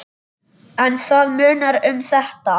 En það munar um þetta.